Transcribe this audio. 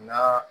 N'a